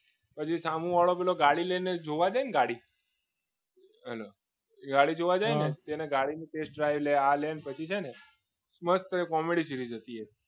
હજુ સામેવાળો પેલો ગાડી લઈને જોવા જઈને ગાડી હાલો ગાડી જુએ છે ને તો તેને ગાડીનો test પછી છે ને મસ્ત કોમેડી સીટી જતી રહે એ